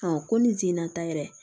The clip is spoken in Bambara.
ko ni jina taa yɛrɛ